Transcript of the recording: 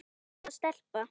Hvaða stelpa?